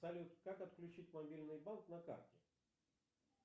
салют как отключить мобильный банк на карте